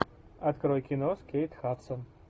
открой кино с кейт хадсон